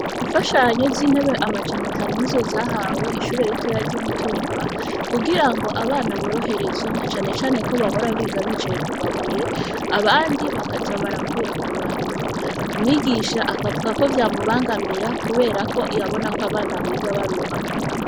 Imfashanyo z'intebe, amajana atanu, ni zo zahawe ishure ritoya, ry'i Mutumba; kugira ngo, abana boroherezwe, na cane cane ko, bahora biga, bicaye ku mabuye; abandi bakaza barakurakuranwa; umwigisha akavuga ko, vyamubangamira, kubera ko, yabona ko, abana biga baruha.